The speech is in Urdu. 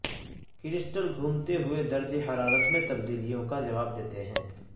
کرسٹل گھومتے ہوئے درجہ حرارت میں تبدیلیوں کا جواب دیتے ہیں